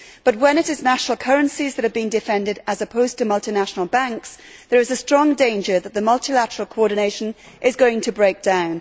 But when it is national currencies that are being defended as opposed to multinational banks, there is a strong danger that multilateral coordination is going to break down.